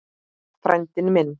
Frændi minn